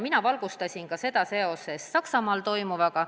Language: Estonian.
Mina valgustasin seda seoses Saksamaal toimuvaga.